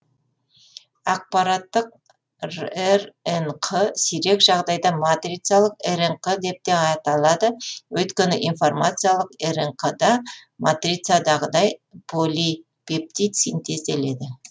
ақпараттық рнқ сирек жағдайда матрицалық рнқ деп те аталады өйткені информациялық рнқ да матрицадағыдай поли пептид синтезделеді